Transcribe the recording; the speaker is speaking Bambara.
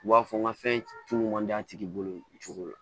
U b'a fɔ n ka fɛn tulu man di a tigi bolo cogo la